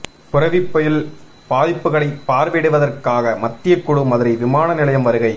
புரெவி புயல் பாதிப்புகளைப் பார்வையிடுவதற்காக மத்தியக் குழு மதுரை விமான நிலையம் வருகை